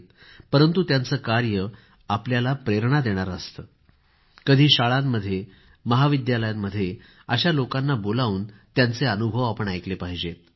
परंतु त्यांचं कार्य आपल्याला प्रेरणा देणारं असतं कधी शाळांमध्ये महाविद्यालयांमध्ये अशा लोकांना बोलावून त्यांचे अनुभव आपण ऐकले पाहिजेत